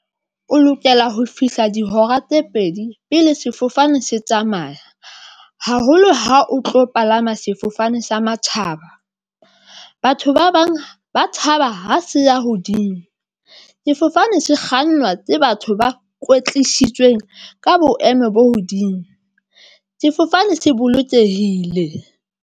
O lokela ho fihla dihora tse pedi pele sefofane se tsamaya haholo ha o tlo palama sefofane sa matjhaba. Batho ba bang ba tshaba ha se ya hodimo. Sefofane se kgannwa ke batho ba kwetlisitsweng ka boemo bo hodimo sefofane se bolokehile.